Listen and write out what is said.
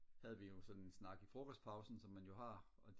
havde vi jo sådan en snak i frokostpausen som man jo har og